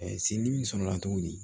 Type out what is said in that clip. sin dimi sɔrɔla cogo di